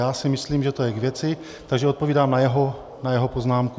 Já si myslím, že to je k věci, takže odpovídám na jeho poznámku.